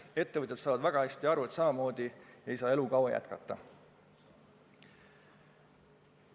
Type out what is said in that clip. Ettevõtjad saavad väga hästi aru, et samamoodi ei saa elu kaua jätkata.